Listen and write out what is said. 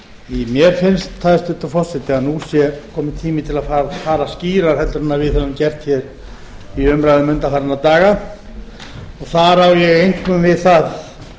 mér finnst hæstvirtur forseti að nú sé kominn tími til að fara skýrar en við höfum gert hér í umræðum undanfarinna daga og þar á ég einkum við það og